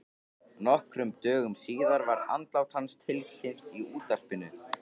Nokkrum dögum síðar var andlát hans tilkynnt í útvarpinu.